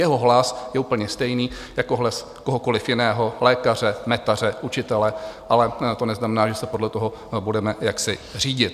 Jeho hlas je úplně stejný jako hlas kohokoli jiného, lékaře, metaře, učitele, ale to neznamená, že se podle toho budeme jaksi řídit.